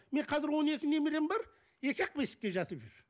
мен қазір он екі немерем бар екі ақ бесікке жатып жүр